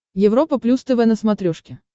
европа плюс тв на смотрешке